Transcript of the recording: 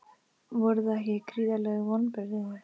Voru það ekki gríðarleg vonbrigði?